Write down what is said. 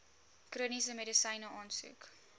chroniese medisyne aansoek